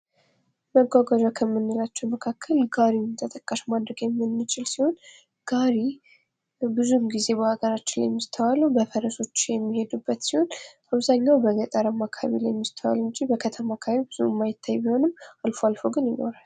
መጓጓዣ ከምንላቸው መካከል ጋሪን ተጠቃሽ ማድረግ የምንችል ሲሆን ጋሪ ብዙውን ጊዜ በሀገራችን ላይ የሚስተዋለው በፈረሶች የሚሄዱበት ሲሆን በአብዘሃኛው በገጠራማ አካባቢ የሚስተዋለው እንጂ በከተማ አካባቢ ብዙ የማይታይ ቢሆንም አልፎ አልፎ ግን ይኖራል።